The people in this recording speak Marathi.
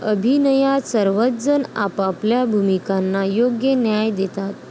अभिनयात सर्वच जण आपापल्या भूमिकांना योग्य न्याय देतात.